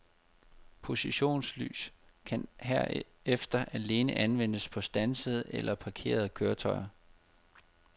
Positionslys kan herefter alene anvendes på standsede eller parkerede køretøjer.